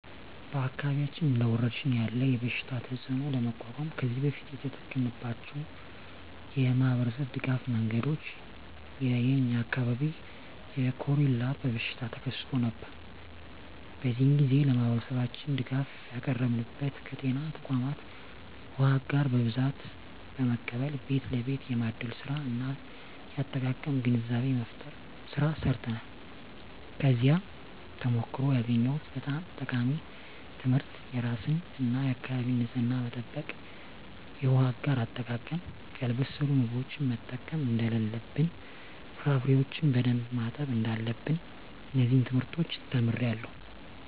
በአካባቢያችን እንደ ወረርሽኝ ያለ የበሽታ ተፅእኖ ለመቋቋም ከዚህ በፊት የተጠቀምንባቸው የማኅበረሰብ ድጋፍ መንገዶች የ የኛ አካባቢ የኮሬላ በሽታ ተከስቶ ነበር። በዚያ ግዜ ለማህበረሠባችን ድጋፍ ያቀረብንበት ከጤና ተቋማት ዉሃ አጋር በብዛት በመቀበል ቤት ለቤት የማደል ስራ እና የአጠቃቀም ግንዛቤ መፍጠር ስራ ሰርተናል። ከዚያ ተሞክሮ ያገኘሁት በጣም ጠቃሚ ትምህርት የራስን እና የአካቢን ንፅህና መጠበቅ፣ የውሃ አጋር አጠቃቀም፣ ያልበሰሉ ምግቦችን መጠቀም እደለለብን፣ ፍራፍሬዎችን በደንብ ማጠብ እዳለብን። እነዚን ትምህርቶች ተምሬአለሁ።